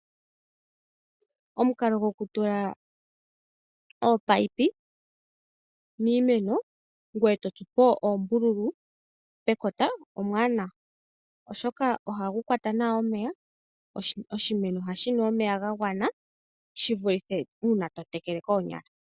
Omukalo go kutula ominino miimeno ngoye eto tsupo oombululu pekota omwaanawa. Oshoka ohagu kwata nawa omeya noshimeno ohashi nu nawa omeya gagwana shi vulithe uuna totekele koonyala.